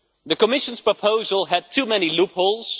The Commission's proposal had too many loopholes.